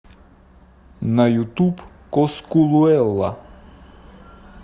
на ютуб коскулуэла